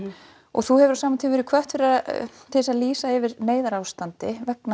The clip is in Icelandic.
þú hefur á sama tíma verið hvött til þess að lýsa yfir neyðarástandi vegna